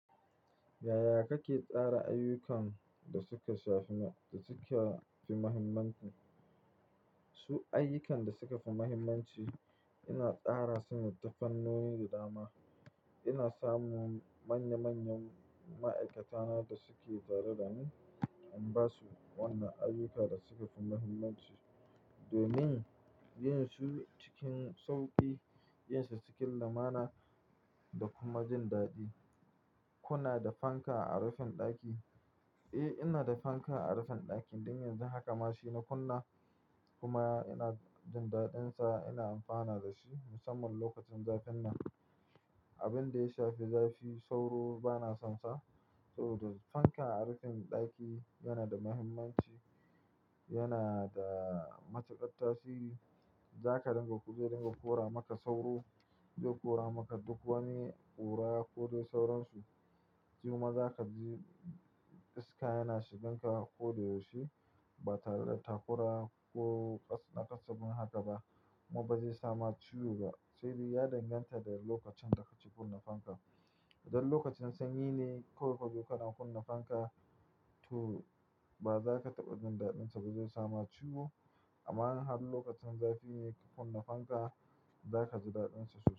Yaya kake tsara ayyukan da suka sha fi ma-- da suke fi muhimmanci? Su ayyukan da suka fi muhimmanci, ina tsara su ne da fannoni da dama. Ina samu manya-manyan ma'aikata na da suke tare da ni, in ba su wannan ayyukan da suka fi muhimmanci domin yin su cikin sauƙi, yin sa cikin lamuna da kuma jin daɗi. "Kuna da fanka a rufin ɗaki?" Eh, ina da fanka a rufin ɗakin. Don yanzu haka ma shi na kunna kuma ina jin daɗinsa. Ina amfana da shi musamman lokacin zafin nan. Abin da ya shafi zafi, sauro ba na son sa. Saboda fanka a rufin ɗaki yana da muhimmanci, yana da matuƙar tasiri. Za ka dinga ku je dinga kora maka sauro. Zai kora maka duk wani ƙura ko dai sauransu. Jiya ma za ka ji iska yana shigan ka ko dai yaushe. Ba tare da takura ko na kasabbun haka ba kuma ba zai sama ciwo ba. Sai dai ya danganta da lokacin da ka ci kunna fanka. Idan lokacin sanyi ne, kawai ka je kaɗa kunna fanka tu ba za ka taɓa jin daɗinsa ba, zai sama ciwo. Amma in har lokacin zafi ne ka kunna fanka, za ka ji daɗinsa sosai.